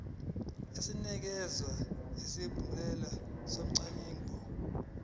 esinikeza isigunyaziso somngcwabo